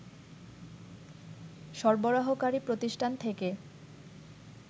সরবরাহকারী প্রতিষ্ঠান থেকে